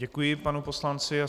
Děkuji panu poslanci.